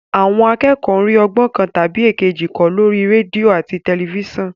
Àwọn akẹ́kọ̀ọ́ ń rí ọgbọ́n kan tàbí èkejì kọ́ lórí rédíò àti tẹ̀lifísàn